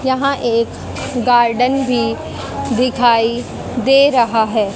यहां एक गार्डन भी दिखाई दे रहा है।